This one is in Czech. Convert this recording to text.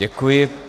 Děkuji.